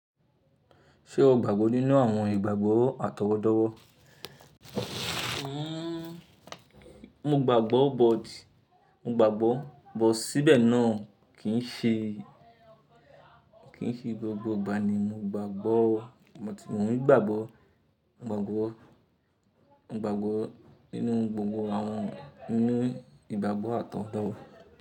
Ṣé o gbàgbọ́ nínú àwọn ìgbàgbọ́ àtọwọ́dọ́wọ́? Mo gbàgbọ́ but, mo gbàgbọ́ but síbẹ̀ náà kì ń ṣe, kì ń ṣe gbogbo ìgbà ni mo gbàgbọ́ o, mo t, mo n gbàgbọ́, gbàgbọ́, mo gbàgbọ́ nínú gbogbo àwọn nínú ìgbàgbọ́ àtọwọ́dọ́wọ́.